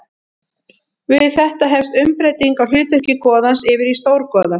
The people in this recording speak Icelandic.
Við þetta hefst umbreyting á hlutverki goðans yfir í stórgoða.